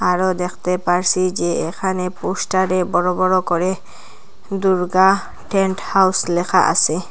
আরও দেখতে পারসি যে এখানে পোস্টারে বড় বড় করে দুর্গা টেন্ট হাউস লেখা আসে।